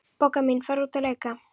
Bogga mín, farðu út að leika.